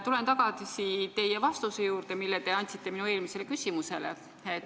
Tulen tagasi vastuse juurde, mille te andsite minu eelmisele küsimusele.